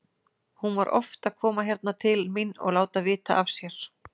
Hún var oft að koma hérna til mín og láta vita af sér.